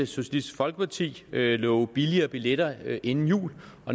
socialistisk folkeparti lovede billigere billetter inden jul